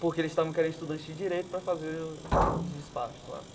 Porque eles estavam querendo estudantes de direito pra fazer os despachos lá.